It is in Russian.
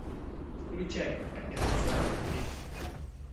включай операция колибри